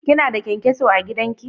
Kina da kyan-kyaso a gidan ki?